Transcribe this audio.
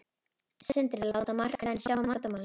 Sindri: Láta markaðinn sjá um vandamálin?